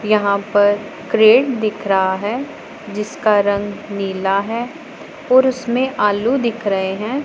यहां पर क्रेट दिख रहा है जिसका रंग नीला है और उसमें आलू दिख रहे हैं।